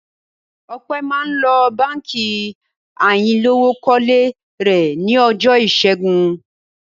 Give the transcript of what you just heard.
Ọpẹ́ máa ń lọ Báńkì ayánilówókọ́lé rẹ̀ ní ọjọ́ ìṣẹ́gun.